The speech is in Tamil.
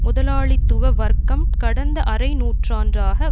முதலாளித்துவ வர்க்கம் கடந்த அரை நூற்றாண்டாக